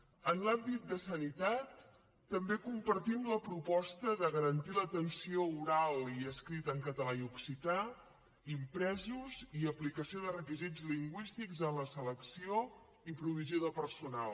en l’àmbit de sanitat també compartim la proposta de garantir l’atenció oral i escrita en català i occità impresos i aplicació de requisits lingüístics en la selecció i provisió de personal